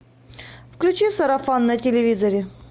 включи сарафан на телевизоре